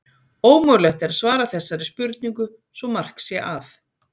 ómögulegt er að svara þessari spurningu svo mark sé að